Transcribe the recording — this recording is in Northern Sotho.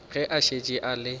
ge a šetše a le